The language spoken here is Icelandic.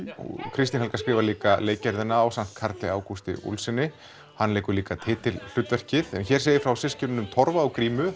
Kristín Helga skrifar líka ásamt Karli Ágústi hann leikur líka titilhlutverkið en hér segir frá systkinunum Torfa og grímu